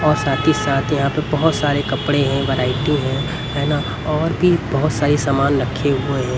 और साथ ही साथ यहां पे बहुत सारे कपड़े हैं वैरायटी ना और भी बहुत सारे सामान रखे हुए हैं.